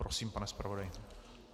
Prosím, pane zpravodaji.